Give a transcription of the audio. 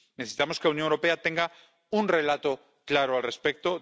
Necesitamos que la Unión Europea tenga un relato claro al respecto.